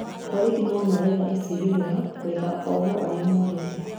Borithi nomaretha icigĩrĩra gũetha ohwo arĩa morĩte